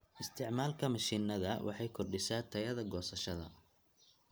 Isticmaalka mishiinada waxay kordhisaa tayada goosashada.